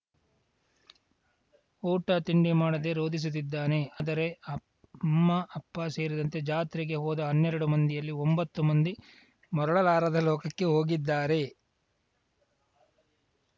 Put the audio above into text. ಊಟ ತಿಂಡಿ ಮಾಡದೆ ರೋಧಿಸುತ್ತಿದ್ದಾನೆ ಆದರೆ ಅಮ್ಮ ಅಪ್ಪ ಸೇರಿದಂತೆ ಜಾತ್ರೆಗೆ ಹೋದ ಹನ್ನೆರಡು ಮಂದಿಯಲ್ಲಿ ಒಂಬತ್ತು ಮಂದಿ ಮರಳಲಾರದ ಲೋಕಕ್ಕೆ ಹೋಗಿದ್ದಾರೆ